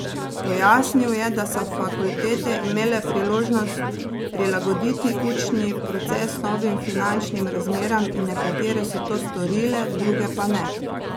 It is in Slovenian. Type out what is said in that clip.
Pojasnil je, da so fakultete imele priložnost prilagoditi učni proces novim finančnim razmeram in nekatere so to storile, druge pa ne.